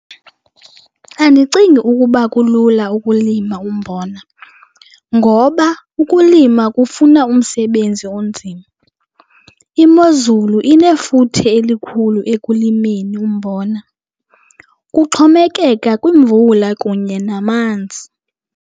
Andicingi ukuba kulula ukulima umbona ngoba ukulima kufuna umsebenzi onzima. Imozulu inefuthe elikhulu ekulimeni umbona, kuxhomekeka kwimvula kunye namanzi.